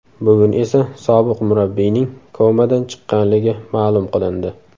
Bugun esa sobiq murabbiyning komadan chiqqanligi ma’lum qilindi .